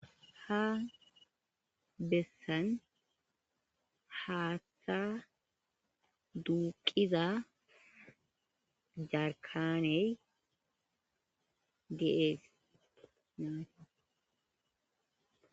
ha bessan haatta duuqiza jarkaney deees namate